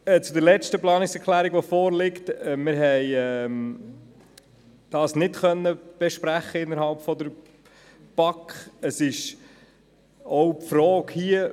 Die letzte vorliegende Planungserklärung konnten wir nicht in der BaK besprechen.